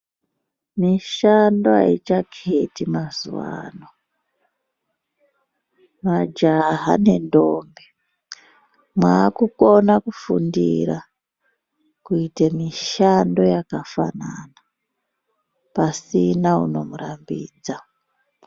Mishando haichaketi mazuwano, Majaha nendombi mwakukona kufundira kuite mishando yakafanana, pasina unomurambidza.